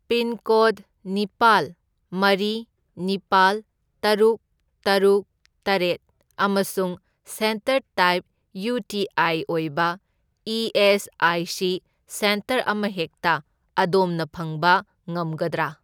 Pincode ꯅꯤꯄꯥꯜ, ꯃꯔꯤ, ꯅꯤꯄꯥꯜ, ꯇꯔꯨꯛ, ꯇꯔꯨꯛ, ꯇꯔꯦꯠ ꯑꯃꯁꯨꯡ centre type U T I ꯑꯣꯏꯕ ꯏ.ꯑꯦꯁ.ꯑꯥꯏ.ꯁꯤ. ꯁꯦꯟꯇꯔ ꯑꯃꯍꯦꯛꯇ ꯑꯗꯣꯝꯅ ꯐꯪꯕ ꯉꯝꯒꯗ꯭ꯔꯥ?